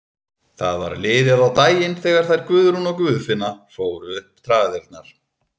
Það var liðið á daginn þegar þær Guðrún og Guðfinna fóru upp traðirnar.